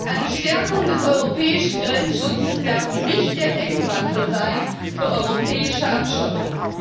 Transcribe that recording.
Eine Stärkung des europäischen Grenzschutzes darf nicht der Deckmantel sein für europäische Abschottung.